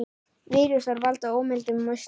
Vírusar valda ómældum usla.